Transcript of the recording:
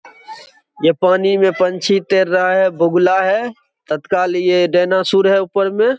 ये पानी में पंछी तैर रहा है बगुला है तत्काल ये डायनासुर है ऊपर में।